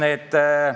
See on reaalsus.